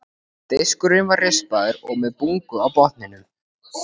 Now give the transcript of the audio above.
Diskurinn var rispaður og með bungu á botninum.